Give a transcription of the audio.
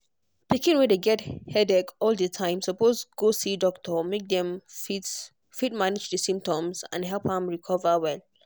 pikin wey dey get headache all di time suppose go see doctor make dem fit fit manage di symptoms and help am recover well.